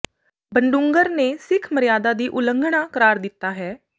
ਬਡੂੰਗਰ ਨੇ ਸਿੱਖ ਮਰਯਾਦਾ ਦੀ ਉਲੰਘਣਾ ਕਰਾਰ ਦਿੱਤਾ ਹੈ